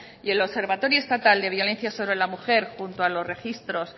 y el observatorio estatal de violencia sobre la mujer junto a los registros